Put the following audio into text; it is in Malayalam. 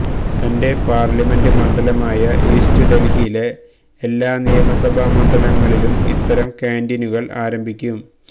തന്റെ പാർലമെന്റ് മണ്ഡലമായ ഈസ്റ്റ് ഡൽഹിയിലെ എല്ലാ നിയമസഭാ മണ്ഡലങ്ങളിലും ഇത്തരം കാന്റീനുകൾ ആരംഭിക്കും